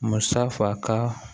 Musa faka